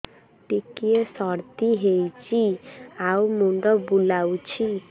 ଟିକିଏ ସର୍ଦ୍ଦି ହେଇଚି ଆଉ ମୁଣ୍ଡ ବୁଲାଉଛି